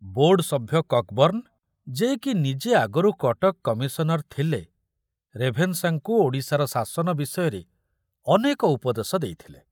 Board ସଭ୍ୟ କକ୍‌ବର୍ଣ୍ଣ, ଯେ କି ନିଜେ ଆଗରୁ କଟକ କମିଶନର ଥିଲେ, ରେଭେନ୍ସାଙ୍କୁ ଓଡ଼ିଶାର ଶାସନ ବିଷୟରେ ଅନେକ ଉପଦେଶ ଦେଇଥିଲେ।